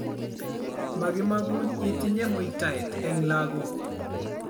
makimagun itinye muytaet eng' lagok